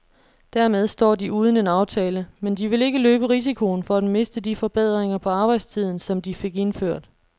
Dermed står de uden en aftale, men de vil ikke løbe risikoen for at miste de forbedringer på arbejdstiden, som de fik indført.